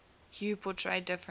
hue portray different